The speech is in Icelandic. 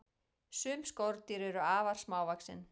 sum skordýr eru afar smávaxin